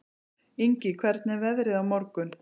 Ingi, hvernig er veðrið á morgun?